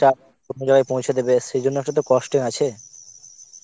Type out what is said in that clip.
টা অন্য জায়গায় পৌছে দেবে সেই জন্য তো cost আছে